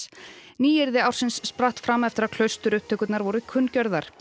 nýyrði ársins spratt fram eftir að klausturupptökurnar voru kunngjörðar